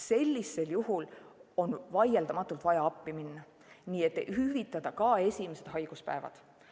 Sellisel juhul on vaieldamatult vaja appi minna ja hüvitada ka esimesed haiguspäevad.